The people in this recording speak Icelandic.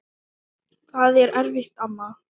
Þetta var erfitt amma mín.